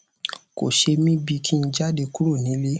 kò ṣe mí bí i kí n jáde kúrò nílè